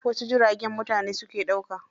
Wasu jiragen mutane suke ɗauka.